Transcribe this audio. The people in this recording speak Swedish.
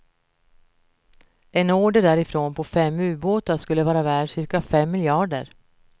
En order därifrån på fem ubåtar skulle vara värd cirka fem miljarder.